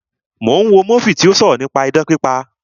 Mo ń wo múfì tí ó sọ̀rọ̀ nípa idán pípa